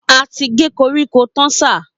A ti gé koríko tán sà